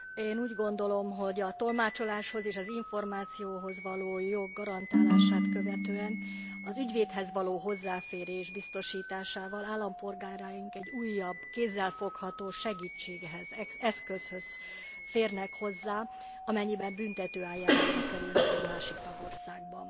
Én úgy gondolom, hogy a tolmácsoláshoz és az információhoz való jog garantálását követően az ügyvédhez való hozzáférés biztosításával állampolgáraink egy újabb kézzelfogható segítséghez, eszközhöz férnek hozzá, amennyiben büntető eljárásba kerülnek egy másik tagországban.